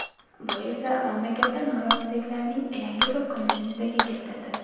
Bu esa mamlakatda noroziliklarning yangi to‘lqinini yuzaga keltirdi.